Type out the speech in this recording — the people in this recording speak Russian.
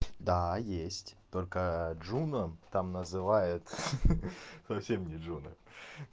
да есть только джуна там называет хи-хи совсем не джуна